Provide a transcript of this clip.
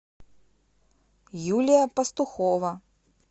юлия пастухова